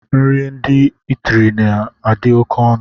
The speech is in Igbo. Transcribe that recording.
Nri ndị itiri na adi oké ọnụ.